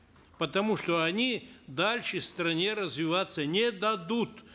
потому что они дальше стране развиваться не дадут